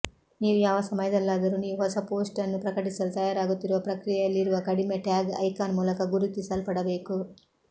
ನೀವು ಯಾವ ಸಮಯದಲ್ಲಾದರೂ ನೀವು ಹೊಸ ಪೋಸ್ಟ್ ಅನ್ನು ಪ್ರಕಟಿಸಲು ತಯಾರಾಗುತ್ತಿರುವ ಪ್ರಕ್ರಿಯೆಯಲ್ಲಿರುವ ಕಡಿಮೆ ಟ್ಯಾಗ್ ಐಕಾನ್ ಮೂಲಕ ಗುರುತಿಸಲ್ಪಡಬೇಕು